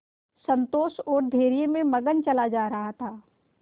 संतोष और धैर्य में मगन चला जा रहा था